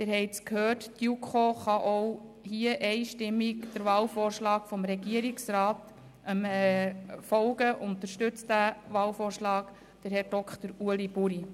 Sie haben es gehört, die JuKo kann hier einstimmig dem Wahlvorschlag des Regierungsrats folgen und unterstützt Herrn Dr. Ueli Buri.